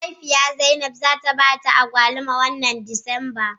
Mahaifiyar Zainab za ta ba ta agwaluma wannan Disamba.